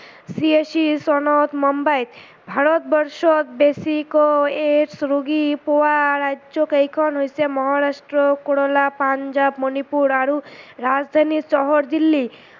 বিৰাশী চনত মোম্বাইত। ভাৰতবৰ্ষত বেছিকৈ AIDS ৰোগী পোৱা ৰাজ্য কেইখন হৈছে মহাৰাষ্ট্ৰ, কৰেলা, পাঞ্জাৱ, মণিপুৰ আৰু ৰাজধানী চহৰ দিল্লী।